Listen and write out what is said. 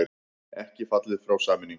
Ekki fallið frá sameiningum